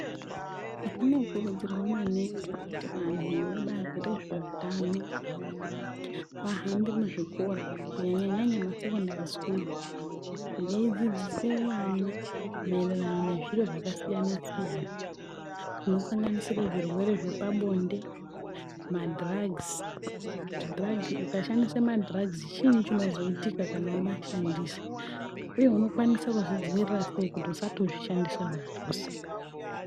Zvinokurudzirwa maningi kuti vanhu vebazi rezvehutano vahambe muzvikora kunyanya nyanya masekendari schools, beyidzidzise vana maererano nezviro zvakasiyana siyana, zvinosanganisire zvirwere zvepabonde ,madrugs kuti drug, ukashandise madrugs chii chinozoitika kana wama shandisa uye unokwanisa kuzvidzivirira seyi kuti usatozvishandisa zvachose.